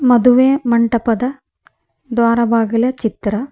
ಮದುವೆ ಮಂಟಪದ ದ್ವಾರ ಬಾಗಿಲ ಚಿತ್ರ.